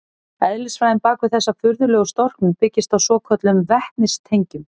Eðlisfræðin bak við þessa furðulegu storknun byggist á svokölluðum vetnistengjum.